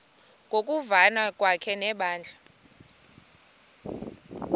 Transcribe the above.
ngokuvana kwakhe nebandla